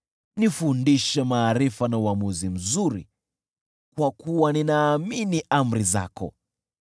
Nifundishe maarifa na uamuzi mzuri, kwa kuwa ninaamini amri zako.